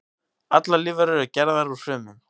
Allar lífverur eru gerðar úr frumum.